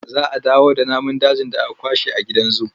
Za a dawo da namun dajin da aka kwashe a gidan zu.